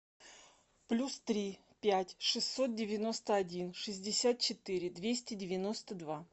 плюс три пять шестьсот девяносто один шестьдесят четыре двести девяносто два